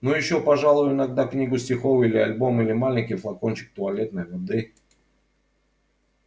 ну ещё пожалуй иногда книгу стихов или альбом или маленький флакончик туалетной воды